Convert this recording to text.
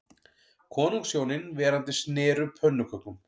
Konungshjónin verðandi sneru pönnukökum